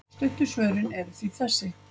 Stuttu svörin eru því þessi.